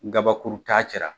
N kabakuru t'a cɛ la.